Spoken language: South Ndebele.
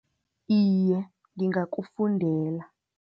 Iye, ngingakufundela.